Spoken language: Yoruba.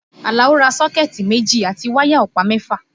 Àlàó ra sọ́kẹ̀tì méjì àti wáyà ọ̀pá mẹ́fà